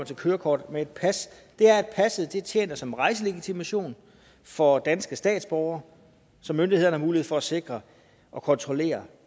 til kørekortet men et pas det er at passet tjener som rejselegitimation for danske statsborgere så myndighederne har mulighed for at sikre og kontrollere